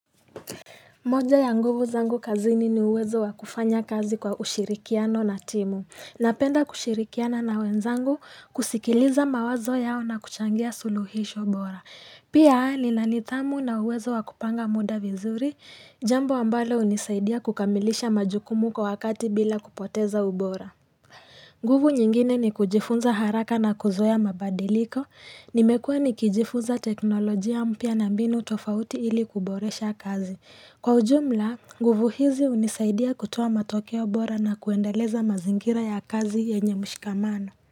Moja ya nguvu zangu kazini ni uwezo wakufanya kazi kwa ushirikiano na timu. Napenda kushirikiana na wenzangu kusikiliza mawazo yao na kuchangia suluhisho bora. Pia nina nitamu na uwezo wakupanga muda vizuri, jambo ambalo unisaidia kukamilisha majukumu kwa wakati bila kupoteza ubora. Nguvu nyingine ni kujifunza haraka na kuzoya mabadiliko. Nimekua nikijifunza teknolojia mpia na mbinu tofauti ili kuboresha kazi. Kwa ujumla, nguvu hizi unisaidia kutowa matokeo bora na kuendeleza mazingira ya kazi enye mshikamano.